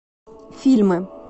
фильмы